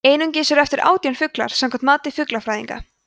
einungis eru eftir átján fuglar samkvæmt mati fuglafræðinga